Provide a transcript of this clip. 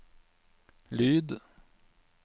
lyd